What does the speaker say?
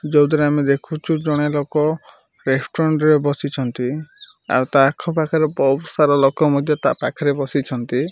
ଯୋଉଥିରେ ଆମେ ଦେଖୁଛୁ ଜଣେ ଲୋକ ରେଷ୍ଟୁରାଣ୍ଟ ରେ ବସିଛନ୍ତି। ଆଉ ତା ଆଖ ପାଖରେ ବହୁତ ସାରା ଲୋକ ମଧ୍ୟ ତା ପାଖରେ ବସିଛନ୍ତି।